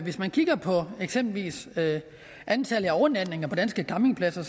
hvis man kigger på eksempelvis antallet af overnatninger på danske campingpladser